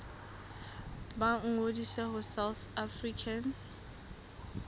ba ngodise ho south african